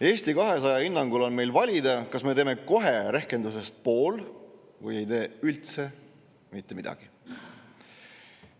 Eesti 200 hinnangul on meil valida, kas me teeme kohe rehkendusest pool või ei tee üldse mitte midagi.